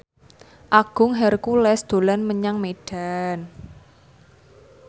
Agung Hercules dolan menyang Medan